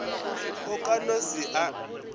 o ka no se a